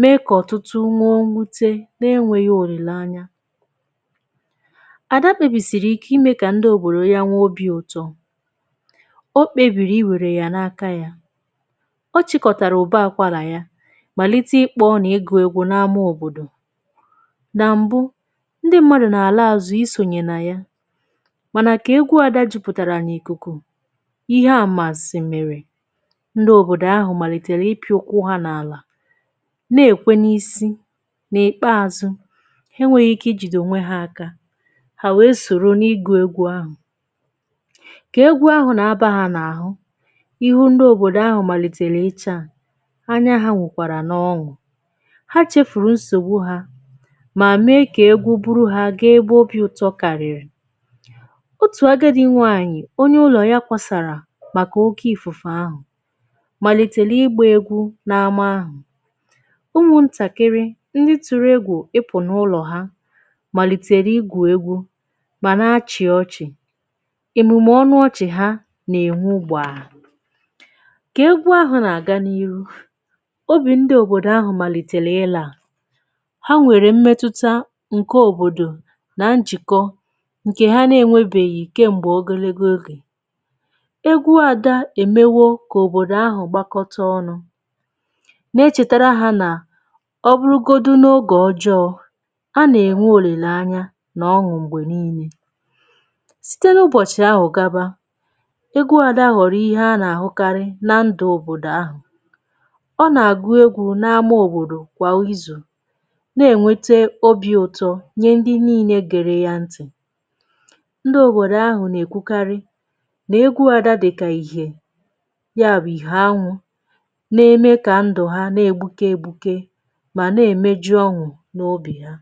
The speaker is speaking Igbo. mee kà ọ̀tụtụ nwee nwute n’enwėghi̇ olìlanya. Adà kpebìsìrì ike imė kà ndi obòrò ya nwe obi̇ ụtọ, Okpebìrì iwère yȧ n’aka yȧ. Ọ chịkọ̀tàrà ụ̀ba àkwàlà ya màlite ikpọ n’ịgụ̇ ẹgwọ̇ na-ama òbòdò. Nà m̀bụ, ndi mmadụ̀ nà àla àzụ isònyè nà ya mànà kà egwu adȧ jupụ̀tàrà n’ìkùkù, ihe amansị mere, ndị òbòdò ahụ̀ màlìtèrè ịpị̇ ụkwụ ha n’àlà na-èkwe n’isi, n’ìkpeazụ̇ ha enweghi̇ ike i jìdì ònwe ha aka hà, wee sòro n’igù egwu ahụ̀. Kà egwu ahụ̀ nà-abȧ hȧ n’àhụ ihu ndị òbòdò ahụ̀ màlìtèrè ịchà anya ha nwukwàrà n’ọṅụ̀, ha chefùrù nsògbu hȧ mà mee kà egwu buru ha ga-egbu obi ụtọ kàrị̀rị̀. Otù agadi nwaanyị̀ onye ụlọ ya kwasàrà maka oke ifufe ahu malìtèrè ịgbà egwu n’amà ahụ̀, ụmụ̀ ntàkịrị̀ ndị tụ̀rụ̀ egwù ịpụ̀ n’ụlọ̀ ha malìtèrè ịgwu egwu màna achị̀ ọchị̀, èmùmè ọnụ ọchị̀ ha nà-ènwu gbaà. kà egwu ahụ̀ nà-àga n’ihu, obì ndị òbòdò ahụ̀ màlìtèlè ịlȧà ha nwèrè mmetutȧ ǹke òbòdò nà nchìkọ ǹke ha na-enwėbèghì kem̀gbè ogologo oge. Egwu Ada emewo kà òbòdò ahụ̀ gbakọta ọnụ̇, na-echètàrà hȧ nà ọ bụrụgodu n’ogè ọjọọ̇ a nà-ènwe òlilè anya nà ọṅụ̀ m̀gbè niilė. Site n’ụbọ̀chị̀ ahụ̀ gaba, egwu Ada hụorọ̀ ihe a nà-àhụkarị na ndụ̇ òbòdò ahụ̀. Ọ nà-àgụ egwu̇ na-amȧ òbòdò kwà ịzụ̀ na-ènwete obi̇ ụ̀tọ nye ndị niilė gère ya ntì. Ndị òbòdò ahụ̀ nà-èkwukarị na egwu Ada dịka ihe, ya bụ ihe anwụ na-eme kà ndụ̀ ha na-egbuke egbuke mà na-emeju ọṅụ̀ n’obì ha.